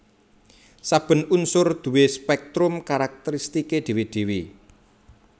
Saben unsur duwé spèktrum karakteristiké dhéwé dhéwé